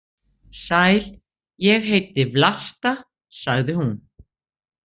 Sæl, ég heiti Vlasta, sagði hún.